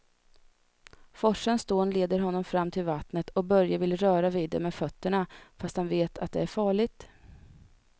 Forsens dån leder honom fram till vattnet och Börje vill röra vid det med fötterna, fast han vet att det är farligt.